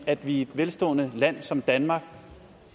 at vi i et velstående land som danmark